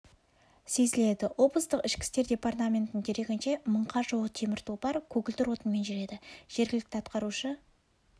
сезіледі облыстық ішкі істер департаментінің дерегінше мыңға жуық темір тұлпар көгілдір отынмен жүреді жергілікті атқарушы